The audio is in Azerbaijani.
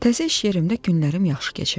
Təzə iş yerimdə günlərim yaxşı keçirdi.